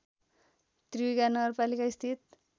त्रियुगा नगरपालिका स्थित